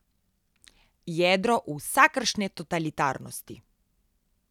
Jedro vsakršne totalitarnosti.